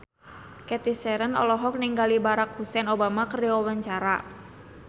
Cathy Sharon olohok ningali Barack Hussein Obama keur diwawancara